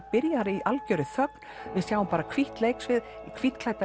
byrjar í algjörri þögn við sjáum bara hvítt leiksvið